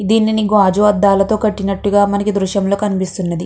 గాజు అడ్డల్తో కట్టినట్టు మనకు ఈ దృశ్యం లో కనిపిస్తున్నది.